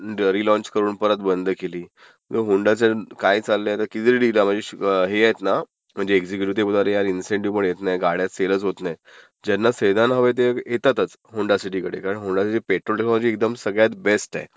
not clear launch करून परत बंद केली, होन्डाचं काय चाललयं ना किती तरी not clear म्हणजे हे आहेत ना म्हणजे एक्झिक्युटीव्ह ते बोलतात अरे यार इन्सेटीव्ह पण येतं नाही, गाड्या सेलंचं होत नाहीत. ज्यांना सेदान हव्यात ते येतातचं, होडा सिटी कडे. कारण होडा सिटी पेट्रोलसाठी बेस्ट आहे.